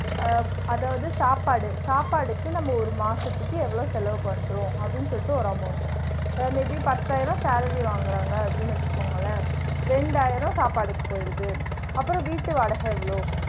ஆ அதாவது சாப்பாடு, சாப்பாடுக்கு நம்ம ஒரு மாசத்துக்கு எவ்ளோ செலவு பன்றோம்? அப்பிடின்னு சொல்லிட்டு ஒரு amount to uh may be பத்தாயிரம் salary வாங்குறாங்க அப்பிடின்னு வச்சுகோங்களன் ரெண்டாயிருவா சாப்பாடுக்கு போயிருது, அப்றம் வீடு வாடகை எவ்ளோ?